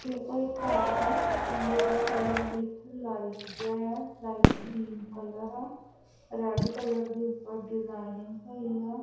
ਇਹ ਕੋਈ ਘਰ ਆ ਜੀਹਦਾ ਕਲਰ ਬਿਲਕੁਲ ਲਾਈਟ ਜਿਹਾ ਆ ਲਾਈਟ ਕਰੀਮ ਕਲਰ ਆ। ਰੈਡ ਕਲਰ ਦੇ ਉੱਪਰ ਡਿਜਾਇਨਿੰਗ ਹੋਈ ਆ।